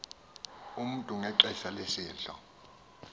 umntu ngexesha lesidlo